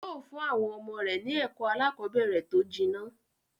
Yóó fún àwọn ọmọ rẹ̀ ni ẹ̀kọ́ aláàkọ́bẹ̀rẹ̀ tó jinná.